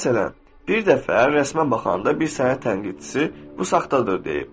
Məsələn, bir dəfə rəsmə baxanda bir sənət tənqidçisi bu saxtadır deyib.